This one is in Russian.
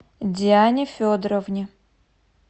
диане федоровне